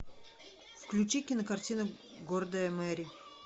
включи кинокартина гордая мэри